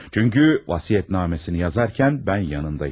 Çünki vəsiyyətnaməsini yazarkən mən yanında idim.